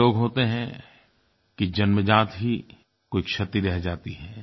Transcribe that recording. कुछ लोग होते हैं कि जन्मजात ही कोई क्षति रह जाती है